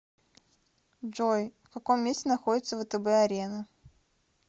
джой в каком месте находится втб арена